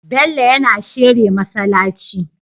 Bello yAna shere masalaci